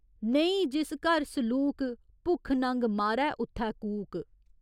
नेईं जिस घर सलूक, भुक्ख नंग मारै उत्थै कूक।